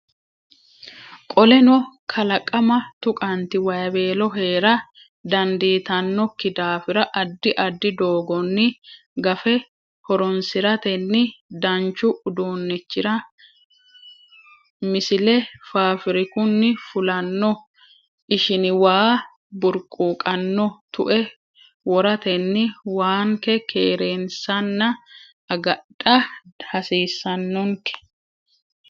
Qoleno kalaqama tuqanti wayweello hee ra dandiitannokki daafira addi addi doogonni gafe horoonsiratenni danchu uduunnichira Misile Faafirikunni fulanno ishini waa burquuqanno tue woratenni waanke keereensanna agadha hasiissannonke.